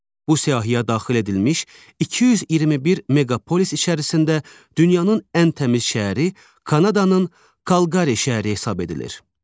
Bu siyahıya daxil edilmiş 221 meqapolis içərisində dünyanın ən təmiz şəhəri Kanadanın Kalqari şəhəri hesab edilir.